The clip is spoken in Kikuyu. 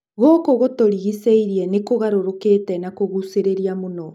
Gũkũ gũtũrigicĩirie nĩ kũgarũrũkĩte na kũgucĩrĩria mũno.